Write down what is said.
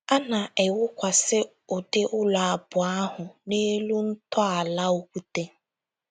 A na -- ewukwasị ụdị ụlọ abụọ ahụ n’elu ntọala okwute.